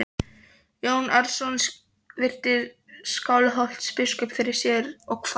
Jón Arason virti Skálholtsbiskup fyrir sér og kvað vísu